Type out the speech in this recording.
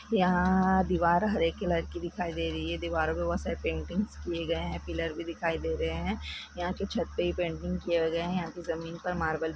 यहां दिवार हरे कलर की दिखाई दे रही है दीवारों पे बहुत सारे पेंटिंग्स किए गए है पीलोर भी दिखाई दे रहे हैं यहां की छत पे भी पेंटिंग किए गए हैं जमीन के ऊपर पर मॉर्बल किया गया है।